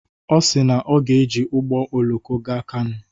Ọ si na ọ ga-eji ụgbọ oloko gaa Kano.